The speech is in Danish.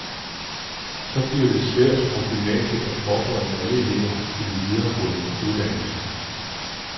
Så bliver det for svært for gymnasiet at forberede alle elever til en videregående uddannelse.